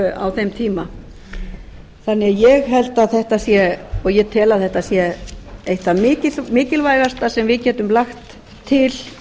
á þeim tíma og ég tel að þetta sé eitt það mikilvægasta sem við getum lagt til